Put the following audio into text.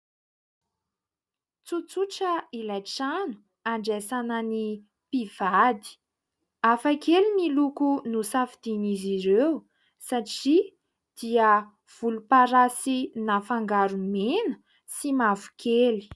Tsotsotra ilay trano handraisana ny mpivady, hafakely ny loko nosafidian'izy ireo satria dia volom-parasy nafangaro mena sy mavokely.